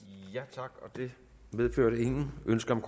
tak det medførte ingen ønsker om